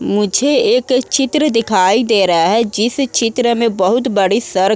मुझे एक चित्र दिखाई दे रहा है जिस चित्र में बोहोत बड़े सरक --